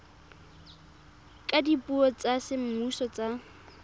ka dipuo tsa semmuso tsa